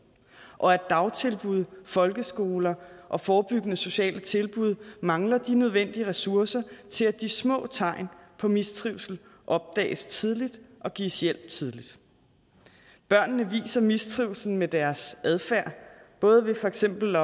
og at dagtilbud folkeskoler og forebyggende sociale tilbud mangler de nødvendige ressourcer til at de små tegn på mistrivsel opdages tidligt og gives hjælp tidligt børnene viser mistrivslen med deres adfærd både ved for eksempel